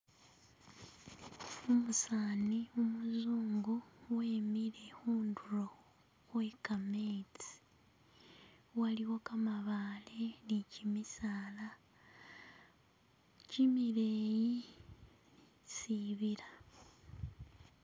Umusani umuzungu wemile khundulo khwe kametsi, waliwo kamabale ne kimisala kimileyi, sibila.